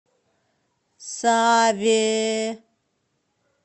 саве